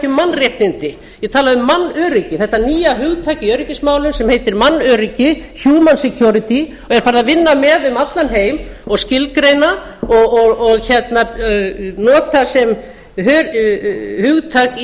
mannréttindi ég talaði um mannöryggi þetta nýja hugtak í öryggismálum sem heitir mannöryggi human security og er farið að vinna með um allan heim og skilgreina og nota sem hugtak